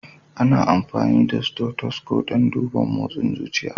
Ana amfani da stothosco dan duban mosin zuciya.